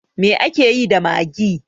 Me akeyi da maggi?